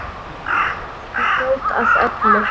Bara svona fljót að öllu.